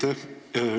Aitäh!